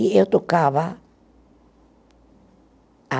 E eu tocava a